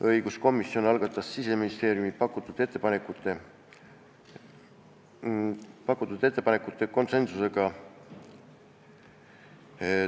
Õiguskomisjon algatas Siseministeeriumi pakutud ettepanekud konsensusega.